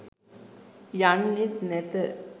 යන්නෙත් නැත.